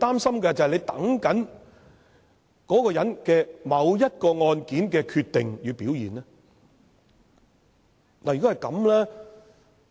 是否在等某個人就某一宗案件的決定和表現呢？